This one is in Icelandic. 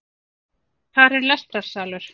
Þar er lestrarsalur